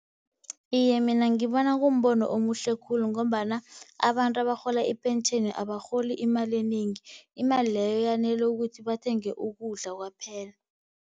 Iye, mina ngibona kumbono omuhle khulu, ngombana abantu abarhola ipentjheni abarholi imali enengi. Imali leyo yanele ukuthi bathenge ukudla kwaphela.